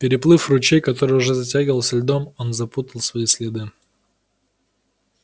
переплыв ручей который уже затягивался льдом он запутал свои следы